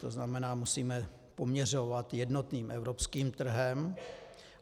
To znamená, musíme poměřovat jednotným evropským trhem.